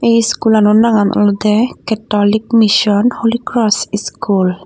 ey iskulano nagan olode catholic mission holy kross iskul.